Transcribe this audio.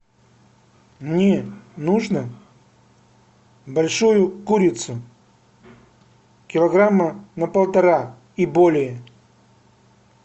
мне нужно большую курицу килограмма на полтора и более